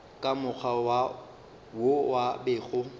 ka mokgwa wo a bego